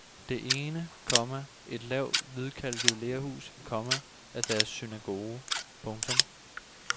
Det ene, komma et lavt hvidkalket lerhus, komma er deres synagoge. punktum